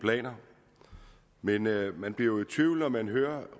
planer men man bliver jo i tvivl når man hører